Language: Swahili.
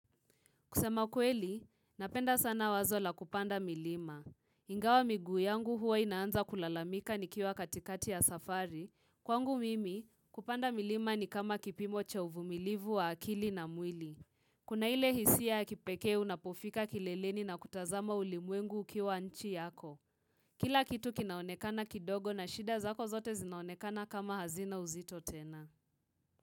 Kusema kweli, napenda sana wazo la kupanda milima. Ingawa miguu yangu huwa inaanza kulalamika nikiwa katikati ya safari, Kwangu mimi, kupanda milima ni kama kipimo cha uvumilivu wa akili na mwili. Kuna ile hisia ya kipekee unapofika kileleni na kutazama ulimwengu ukiwa nchi yako. Kila kitu kinaonekana kidogo na shida zako zote zinaonekana kama hazina uzito tena.